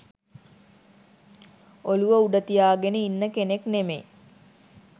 ඔලුව උඩ තියාගෙන ඉන්න කෙනෙක් නෙමෙයි.